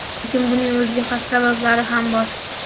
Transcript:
Lekin buning o‘ziga xos sabablari ham bor.